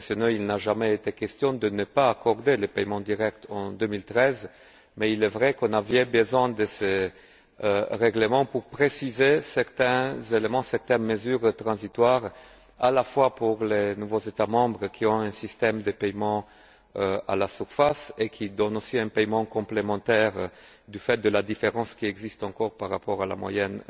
Il n'a jamais été question de ne pas accorder les paiements directs en 2013, mais il est vrai que nous avions besoin de ce règlement pour préciser certains éléments, certaines mesures transitoires, à la fois pour les nouveaux États membres, qui ont un système de paiement à la surface et qui donnent aussi un paiement complémentaire, du fait de la différence qui existe encore par rapport à la moyenne